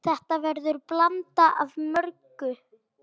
Þetta verður blanda af mörgu.